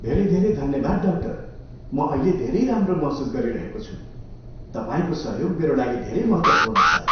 धेरै धेरै धन्यवाद, डाक्टर! म अहिले धेरै राम्रो महसुस गरिरहेको छु। तपाईँको सहयोग मेरा लागि धेरै महत्त्वपूर्ण छ।